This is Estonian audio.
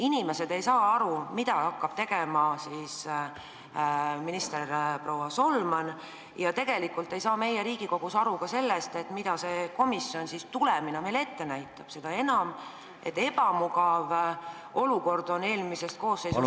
Inimesed ei saa aru, millega hakkab tegelema minister Solman, ja tegelikult ei saa meie Riigikogus aru ka sellest, mida see komisjon siis tulemina meile ette näitab, seda enam, et ebamugav olukord oli eelmises koosseisus näha.